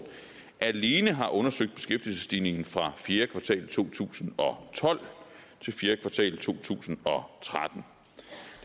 alene har undersøgt beskæftigelsesstigningen fra fjerde kvartal to tusind og tolv til fjerde kvartal to tusind og tretten